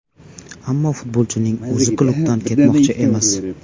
Ammo futbolchining o‘zi klubdan ketmoqchi emas.